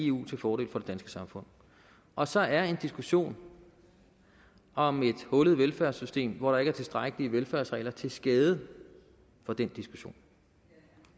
eu til fordel for det danske samfund og så er en diskussion om et hullet velfærdssystem hvor der ikke er tilstrækkelige velfærdsregler til skade for den diskussion